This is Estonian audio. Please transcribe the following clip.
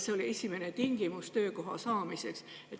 See oli esimene tingimus töökoha saamiseks.